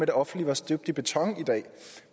det offentlige var støbt i beton i dag